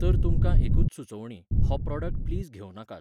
तर तुमकां एकूच सुचोवणी, हो प्रॉडक्ट प्लीज घेवं नाकात.